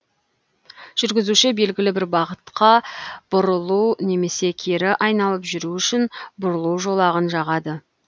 жүргізуші белгілі бір бағытқа бұрылу немесе кері айналып жүру үшін бұрылу жолағын жағады